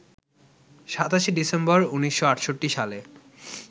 ২৭শে December ১৯৬৮ সালে